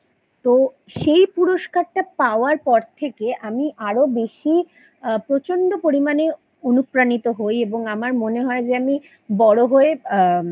তো সেই পুরস্কারটা পাওয়ার পর থেকে আমি আরো বেশি আ প্রচন্ড পরিমানে অনুপ্রাণিত হই এবং আমার মনে হয় যে আমি বড়ো হয়ে আ